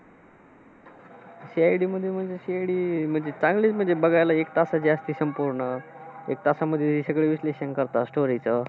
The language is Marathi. CID मध्ये म्हणजे, CID मध्ये चांगलं म्हणजे बघायला, एक तासाचं असतं संपूर्ण. एक तासामध्ये सगळं विश्लेषण करतात story चं.